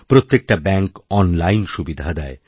প্রত্যেকটা ব্যাঙ্ক অনলাইনসুবিধা দেয়